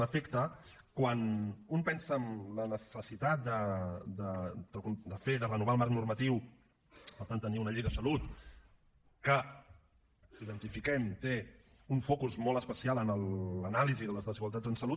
en efecte quan un pensa en la necessitat de fer de renovar el marc normatiu per tant tenir una llei de salut identifiquem que té un focus molt especial en l’anàlisi de les desigualtats en salut